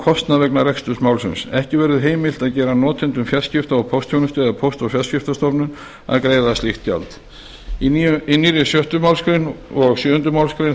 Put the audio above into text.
kostnað vegna reksturs málsins ekki verður heimilt að gera notendum fjarskipta og póstþjónustu eða póst og fjarskiptastofnun að greiða slíkt gjald í nýjum sjöttu málsgrein og sjöunda málsgreinar